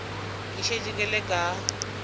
ke šetše ke le ka